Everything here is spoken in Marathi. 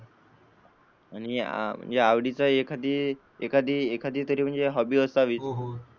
आणि आवडीचा एखादा एखादी तरी हॉबी असावी.